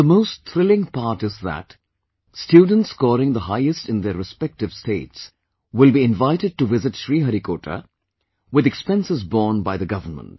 And the most thrilling part is that students scoring the highest in their respective states will be invited to visit Sriharikota, with expenses borne by the Government